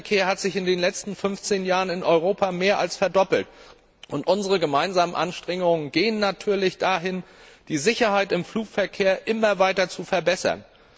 Der Flugverkehr hat sich in den letzten 15 Jahren in Europa mehr als verdoppelt, und unsere gemeinsamen Anstrengungen gehen natürlich dahin, die Sicherheit im Flugverkehr immer weiter zu verbessern.